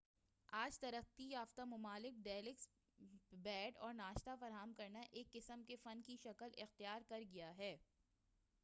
آج ترقی یافتہ ممالک میں ڈیلکس بیڈ اور ناشتہ فراہم کرنا ایک قسم کے فن کی شکل اختیار کر گیا ہے